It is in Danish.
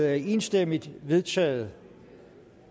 er enstemmigt vedtaget